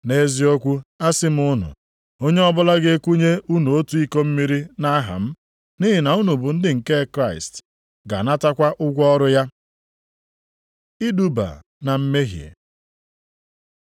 Nʼeziokwu asị m unu, onye ọbụla ga-ekunye unu otu iko mmiri nʼaha m, nʼihi na unu bụ ndị nke Kraịst, ga-anatakwa ụgwọ ọrụ ya. Iduba na mmehie